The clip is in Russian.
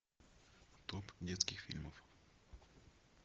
топ детских фильмов